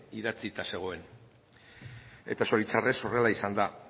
idatzita zegoen eta zoritxarrez horrela izan da